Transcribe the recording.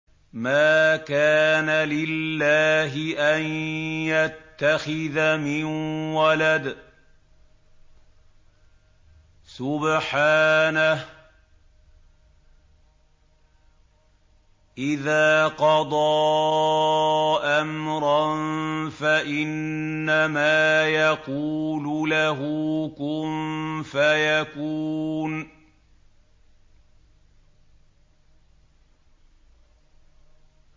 مَا كَانَ لِلَّهِ أَن يَتَّخِذَ مِن وَلَدٍ ۖ سُبْحَانَهُ ۚ إِذَا قَضَىٰ أَمْرًا فَإِنَّمَا يَقُولُ لَهُ كُن فَيَكُونُ